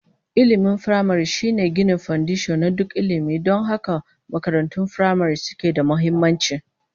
Ilmin firamare shine ginin fandisho na duk ilmi, don haka makarantun firamare suke da muhimmanci